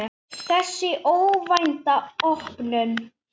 Þessi óvænta opnun